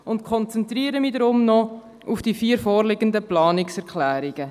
Ich konzentriere mich deshalb noch auf die vier vorliegenden Planungserklärungen: